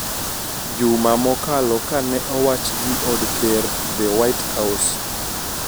Juma mokalo ka ne owach gi od ker "The white house"